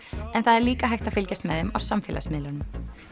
en það er líka hægt að fylgjast með þeim á samfélagsmiðlunum